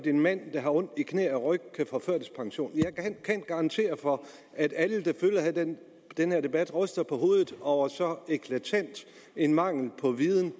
en mand der har ondt i knæ og ryg kan få førtidspension jeg kan garantere for at alle der følger den den her debat ryster på hovedet over så eklatant en mangel på viden